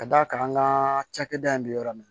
Ka d'a kan an ka cakɛda in bɛ yɔrɔ min